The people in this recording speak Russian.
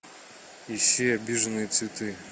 ищи обиженные цветы